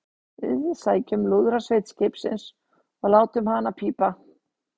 Við sækjum lúðrasveit skipsins og látum hana pípa!